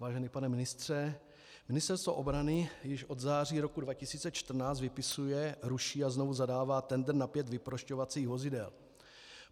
Vážený pane ministře, Ministerstvo obrany již od září roku 2014 vypisuje, ruší a znovu zadává tendr na pět vyprošťovacích vozidel.